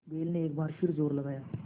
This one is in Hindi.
बैल ने एक बार फिर जोर लगाया